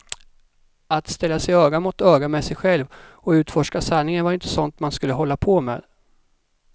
Att ställa sig öga mot öga med sig själv och utforska sanningen var inte sånt man skulle hålla på med.